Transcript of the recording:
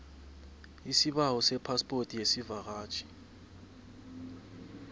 isibawo sephaspoti yesivakatjhi